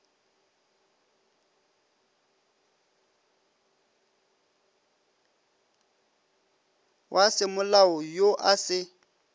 wa semolao yo a se